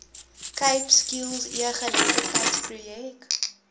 cape skills egeletterdheidsprojek